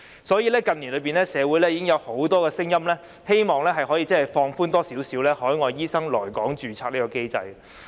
所以，社會近年已經有很多聲音希望可以稍為放寬海外醫生來港註冊的機制。